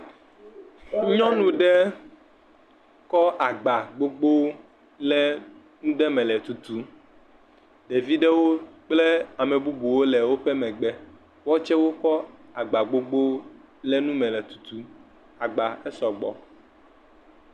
Nyɔnu ɖe kɔ agba gbogbo ɖe nuɖe me le tutum. Ɖeviɖewo kple ame bubuwo le eƒe megbe. Woa wotse, wokɔ woƒe agbawo ɖe nume le tutum. Agba esɔ gbɔ.